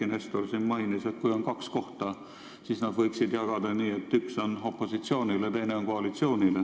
Eiki Nestor siin mainis, et kui on kaks kohta, siis neid võiks jagada nii, et üks on opositsioonil ja teine on koalitsioonil.